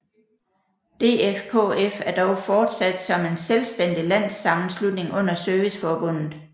DFKF er dog fortsat som en selvstændig landssammenslutning under Serviceforbundet